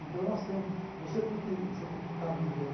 Então, nós temos você tem que você tem que estar vivendo.